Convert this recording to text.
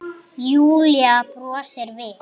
Júlía brosir við.